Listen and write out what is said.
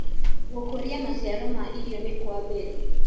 Gũkũrĩa macĩaro ma ĩrĩo nĩ kwa mbere